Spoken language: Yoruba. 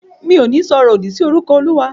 Mi ò ní sọ ọ̀rọ̀ òdì si orúkọ Olúwa.